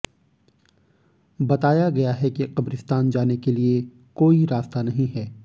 बताया गया है कि कब्रिस्तान जाने के लिए कोई रास्ता नहीं है